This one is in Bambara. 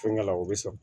Fɛnkɛ la o bɛ sɔrɔ